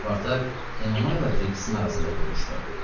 Spartak Enomayla Kriksin arasında oturmuştu.